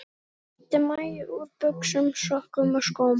Hann klæddi Maju úr buxum, sokkum og skóm.